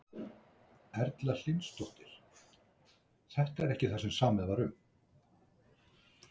Erla Hlynsdóttir: Þetta er ekki það sem samið var um?